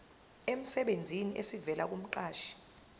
emsebenzini esivela kumqashi